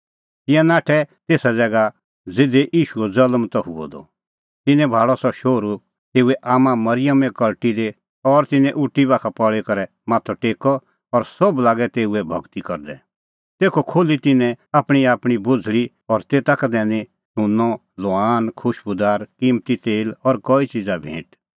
तिंयां नाठै तेसा ज़ैगा ज़िधी ईशूओ ज़ल्म त हुअ द तिन्नैं भाल़अ सह शोहरू तेऊए आम्मां मरिअमे कल़टी दी और तिन्नैं उटी बाखा पल़ी करै माथअ टेक्कअ और सोभ लागै तेऊए भगती करदै तेखअ खोल्ही तिन्नैं आपणींआपणीं बोझ़ल़ी और तेता का दैनी सुंन्नअ लोवान खुशबूदार किम्मती तेल और कई च़िज़ा भैंट